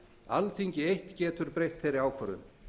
alþingi eitt getur breytt þeirri ákvörðun